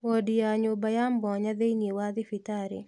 Wondi nĩ nyũmba ya mwanya thĩiniĩ wa thibitarĩ